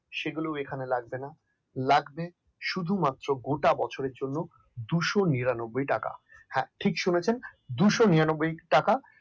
সেগুলো এখানে লাগবে না লাগবে গোটা বছরের জন্য এখানে দুই শো নিরানব্বই টাকা। হ্যাঁ ঠিক শুনেছেন দুই শো নিরানব্বই টাকা